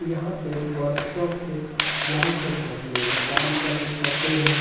यहाँ एक वर्कशॉप है जहाँ पे बहुत लोग काम करने आते हैं |